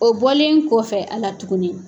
O bɔlen kɔfɛ a la tuguni